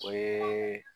O ye